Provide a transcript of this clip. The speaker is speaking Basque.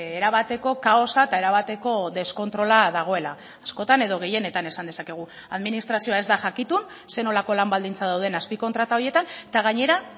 erabateko kaosa eta erabateko deskontrola dagoela askotan edo gehienetan esan dezakegu administrazioa ez da jakitun zer nolako lan baldintzak dauden azpikontrata horietan eta gainera